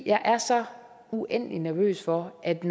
jeg er så uendelig nervøs for at